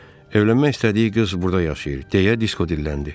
Evlənmək istədiyi qız burda yaşayır, deyə Disko dilləndi.